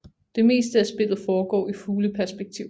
Det meste af spillet foregår i fugleperspektiv